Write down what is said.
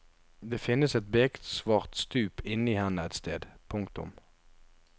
Det finnes et beksvart stup inne i henne et sted. punktum